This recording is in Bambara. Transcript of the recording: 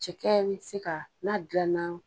Cɛkɛ bɛ se ka n'a dilanna